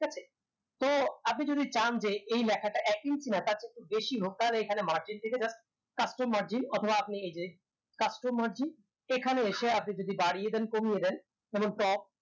ঠিক আছে তো আপনি যদি চান যে এই লেখাটা এক inches না তার চেয়ে একটু বেশি হোক তাহলে এখানে margin থেকে just custom margin অথবা আপনি এইযে custom margin এখানে এসে আপনি যদি বাড়িয়ে দেন কমিয়ে দেন তখন তো